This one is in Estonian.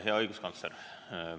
Hea õiguskantsler!